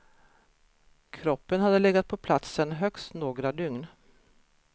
Kroppen hade legat på platsen högst några dygn.